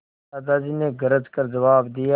दादाजी ने गरज कर जवाब दिया